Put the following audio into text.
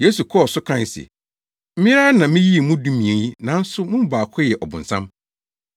Yesu kɔɔ so kae sɛ, “Me ara na miyii mo dumien yi, nanso mo mu baako yɛ ɔbonsam.”